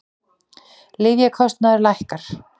Lyfjakostnaður lækkar